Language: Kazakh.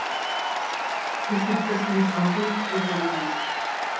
біз біртұтас совет халқын құру жолындамыз